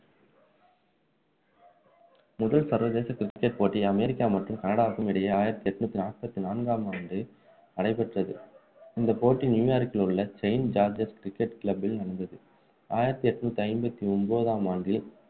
முதல் சரிவதேச cricket போட்டி அமெரிக்கா மற்றும் கனடாவுக்கும் இடையே ஆயிரத்து எண்ணூற்று நாற்பத்தி நான்காம் ஆண்டு நடைபெற்றது இந்த போட்டி நியுயார்க்கில் உள்ள செயின்ட் ஜார்ஜஸ் cricket club பில் நடந்தது ஆயிரத்து எண்ணூற்று ஐம்பத்து ஒன்பதாம் ஆண்டு